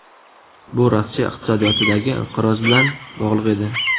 Bu Rossiya iqtisodiyotidagi inqiroz bilan bog‘liq edi.